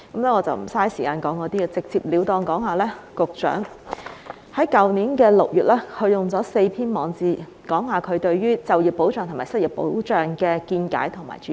我會直截了當說說，局長於去年6月用了4篇網誌，表達他對於就業保障及失業保障的見解和主張。